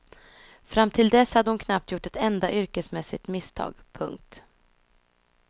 Fram till dess hade hon knappt gjort ett enda yrkesmässigt misstag. punkt